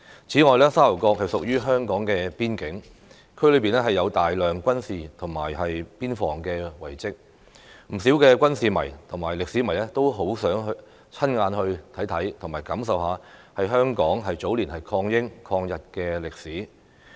此外，沙頭角屬於香港邊境，區內有大量軍事及邊防遺蹟，不少軍事迷和歷史迷都十分希望親眼看看和親身感受香港早年抗英、抗日的歷史。